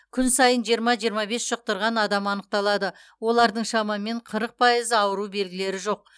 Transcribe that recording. күн сайын жиырма жиырма бес жұқтырған адам анықталады олардың шамамен қырық пайызы ауру белгілері жоқ